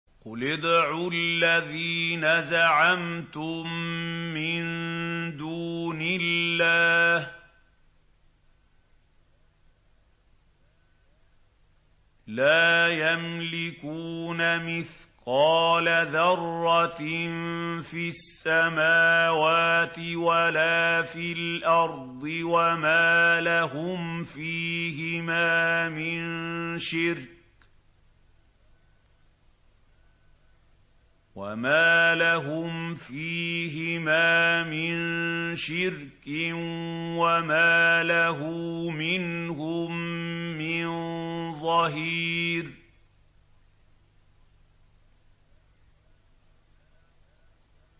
قُلِ ادْعُوا الَّذِينَ زَعَمْتُم مِّن دُونِ اللَّهِ ۖ لَا يَمْلِكُونَ مِثْقَالَ ذَرَّةٍ فِي السَّمَاوَاتِ وَلَا فِي الْأَرْضِ وَمَا لَهُمْ فِيهِمَا مِن شِرْكٍ وَمَا لَهُ مِنْهُم مِّن ظَهِيرٍ